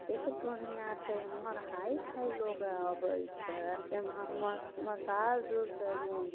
देख पन यहा चे है मार हाई फाई लोग आ बैठे अ म म मसाज सालौन --